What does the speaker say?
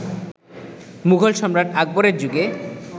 মুঘল সম্রাট আকবরের যুগে